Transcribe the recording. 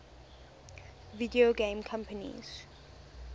video game companies